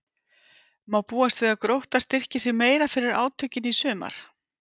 Má búast við að Grótta styrki sig meira fyrir átökin í sumar?